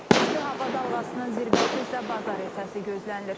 İsti hava dalğasının zirvəsi isə bazar ertəsi gözlənilir.